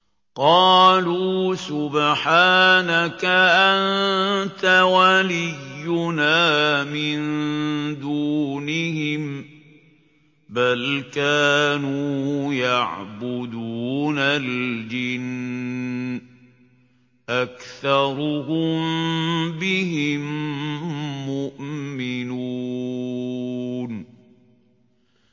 قَالُوا سُبْحَانَكَ أَنتَ وَلِيُّنَا مِن دُونِهِم ۖ بَلْ كَانُوا يَعْبُدُونَ الْجِنَّ ۖ أَكْثَرُهُم بِهِم مُّؤْمِنُونَ